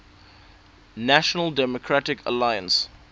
national democratic alliance